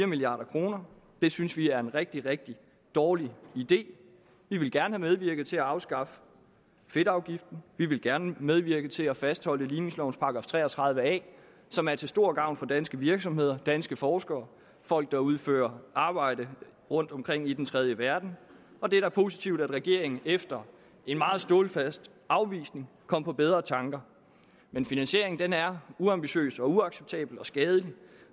milliard kroner det synes vi er en rigtig rigtig dårlig idé vi ville gerne have medvirket til at afskaffe fedtafgiften vi ville gerne medvirke til at fastholde ligningslovens § tre og tredive a som er til stor gavn for danske virksomheder danske forskere folk der udfører arbejde rundtomkring i den tredje verden og det er positivt at regeringen efter en meget stålfast afvisning kom på bedre tanker men finansieringen er uambitiøs og uacceptabel og skadelig